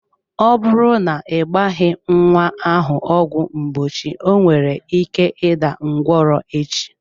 Ọ bụrụ na ị gbaghi nwa ahụ ọgwụ mgbochi onwere ike ịda ngwọrọ echi.